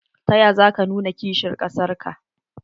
Ta ya za ka nuna kishin kasar ka?